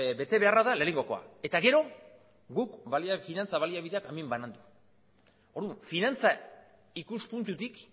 betebeharra da lehenengokoa eta gero guk finantza baliabideak hemen banandu orduan finantza ikuspuntutik